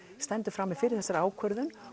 stendur frammi fyrir þessari ákvörðun